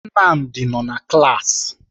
Nnamdi nọ na klaasị.